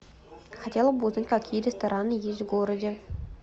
хотела бы узнать какие рестораны есть в городе